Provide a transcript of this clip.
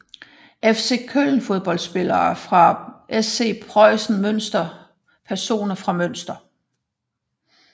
FC Köln Fodboldspillere fra SC Preußen Münster Personer fra Münster